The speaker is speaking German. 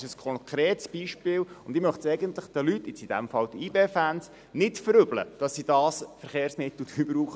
Dies ist ein konkretes Beispiel, und ich möchte es den Leuten – in diesem Fall den YB-Fans – nicht verübeln, dass sie das günstigere Verkehrsmittel brauchen.